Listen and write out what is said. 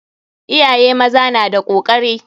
Iyaye maza na da kokari.